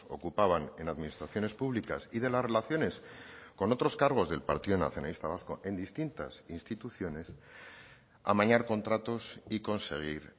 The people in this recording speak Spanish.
ocupaban en administraciones públicas y de las relaciones con otros cargos del partido nacionalista vasco en distintas instituciones amañar contratos y conseguir